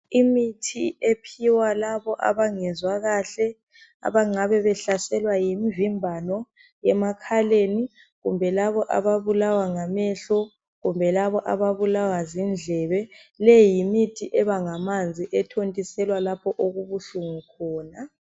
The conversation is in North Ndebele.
Imithi ephiwa labo abangezwa kahle abangabe behlaselwa yimvimbano emakhaleni kumbe labo ababulawa ngamehlo kumbe laba ababulawa zindlebe. Le yimithi eba ngamanzi ethontiselwa lapho okubuhlungu khona.